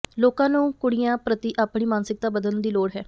ਲੋਕਾਂ ਨੂੰ ਕੁੜੀਆਂ ਪ੍ਰਤੀ ਆਪਣੀ ਮਾਨਸਿਕਤਾ ਬਦਲਣ ਦੀ ਲੋੜ ਹੈ